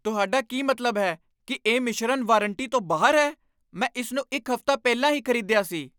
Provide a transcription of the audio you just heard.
ਤੁਹਾਡਾ ਕੀ ਮਤਲਬ ਹੈ ਕਿ ਇਹ ਮਿਸ਼ਰਨ ਵਾਰੰਟੀ ਤੋਂ ਬਾਹਰ ਹੈ? ਮੈਂ ਇਸ ਨੂੰ ਇੱਕ ਹਫ਼ਤਾ ਪਹਿਲਾਂ ਹੀ ਖ਼ਰੀਦਿਆ ਸੀ!